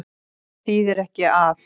Það þýðir ekki að.